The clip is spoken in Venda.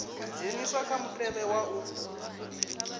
dzheniswa kha mutevhe wa u